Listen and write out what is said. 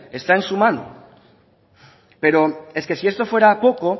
está en su mano pero es que si esto fuera poco